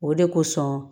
O de kosɔn